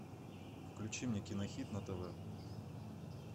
включи мне кинохит на тв